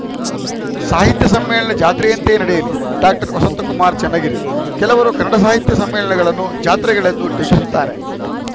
ಸಾಹಿತ್ಯ ಸಮ್ಮೇಳನ ಜಾತ್ರೆಯಂತೆಯೇ ನಡೆಯಲಿ ಡಾಕ್ಟರ್ ವಸಂತಕುಮಾರ್‌ ಚನ್ನಗಿರಿ ಕೆಲವರು ಕನ್ನಡ ಸಾಹಿತ್ಯ ಸಮ್ಮೇಳನಗಳನ್ನು ಜಾತ್ರೆಗಳೆಂದು ಟೀಕಿಸುತ್ತಾರೆ